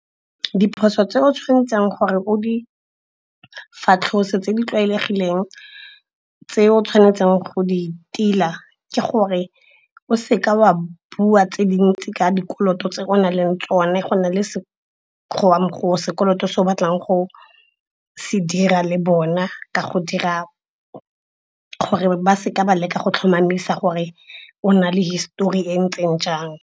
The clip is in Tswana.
Diphoso tse o tshwanetseng gore o di fatlhose tse di tlwaelegileng tse o tshwanetseng go di tila, ke gore o seka wa bua tse dintsi ka dikoloto tse o na leng tsone go na le sekolong go sekoloto se o batlang go se dira le bona ka go dira gore ba seka ba leka go tlhomamisa gore o na le histori e ntseng jang.